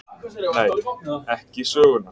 Nei: ekki sögunnar.